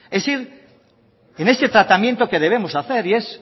es ir en ese tratamiento que debemos hacer y es